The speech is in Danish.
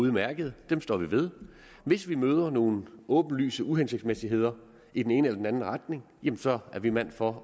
udmærkede dem står vi ved hvis vi møder nogle åbenlyse uhensigtsmæssigheder i den ene eller den anden retning jamen så er vi mænd for